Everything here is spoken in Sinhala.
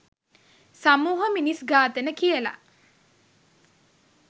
සමුහ මිනිස් ඝාතන කියල.